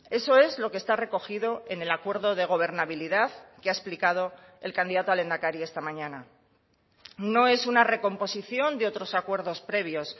eso es lo que está recogido en el acuerdo de gobernabilidad que ha explicado el candidato a lehendakari esta mañana no es una recomposición de otros acuerdos previos